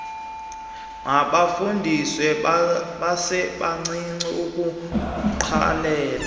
mabafundiswe besebancinci ukuwugqalela